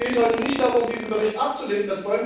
Es geht heute nicht darum, diesen Bericht abzulehnen.